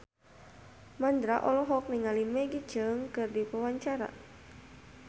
Mandra olohok ningali Maggie Cheung keur diwawancara